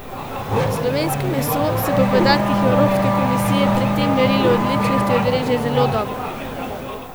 Slovensko meso se po podatkih Evropske komisije pri tem merilu odličnosti odreže zelo dobro.